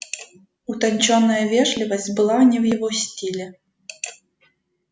утончённая вежливость была не в его стиле